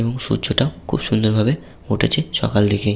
এবং সূর্য টা খুব সুন্দর ভাবে উঠেছে সকাল দিকে।